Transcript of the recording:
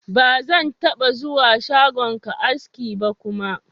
Ba zan taɓa zuwa shagonka aski ba kuma.